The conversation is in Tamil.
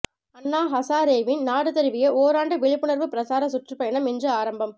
அன்னா ஹசாரேவின் நாடு தழுவிய ஓராண்டு விழிப்புணர்வு பிரசார சுற்றுப்பயணம் இன்று ஆரம்பம்